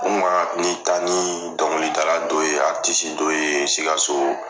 ni taa ni dɔnkilidala dɔ ye dɔ ye Sikaso